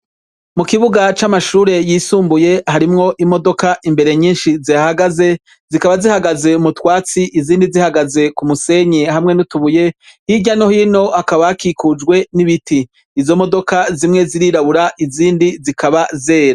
Mukibuga camashure yisumbuye harimwo imodoka imbere nyinshi zihahagaze zikaba zihagaze mutwatsi izindi zihagaze kumusenyi hamwe n’utubuye, hirya no hino hakaba hakikujwe n'ibiti, izo modoka zimwe zirirabura izindi zikaba zera.